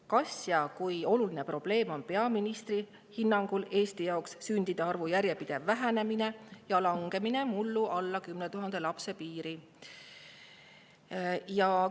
Kas peaministri hinnangul on sündide arvu järjepidev vähenemine ja langemine mullu alla 10 000 lapse piiri Eesti jaoks probleem ja kui oluline see probleem on?